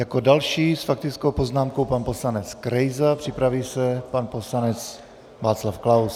Jako další s faktickou poznámkou pan poslanec Krejza, připraví se pan poslanec Václav Klaus.